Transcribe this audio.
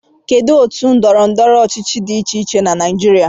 Kedu otu ndọrọ ndọrọ ọchịchị dị iche iche na Naijiria